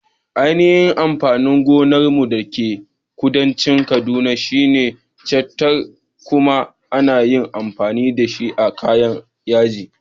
Ainihin amfanin gonar mu da ke kudancin kaduna shine chitta, kuma ana iya amfani dashi a kayan yaji.